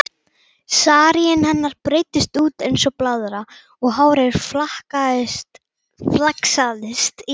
Saríinn hennar breiddist út eins og blaðra og hárið flaksaðist í allar áttir.